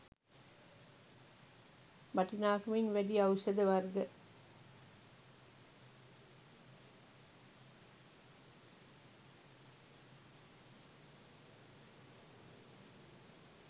වටිනාකමින් වැඩි ඖෂධ වර්ග